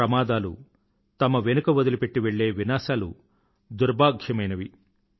ప్రమాదాలు తమ వెనుక వదిలిపెట్టి వెళ్ళే వినాశనాలు దుర్భాగ్యమైనవి